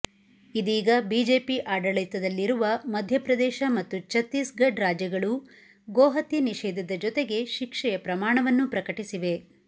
ಇದೀಗ ಬಿಜೆಪಿ ಆಡಳಿತದಲ್ಲಿರುವ ಮಧ್ಯಪ್ರದೇಶ ಮತ್ತು ಛತ್ತೀಸ್ ಗಢ್ ರಾಜ್ಯಗಳೂ ಗೋಹತ್ಯೆ ನಿಷೇಧದ ಜೊತೆಗೆ ಶಿಕ್ಷೆಯ ಪ್ರಮಾಣವನ್ನೂ ಪ್ರಕಟಿಸಿವೆ